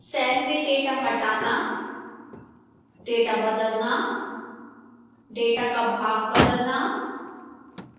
cell में data हटाना data बदलना data का भाग बदलना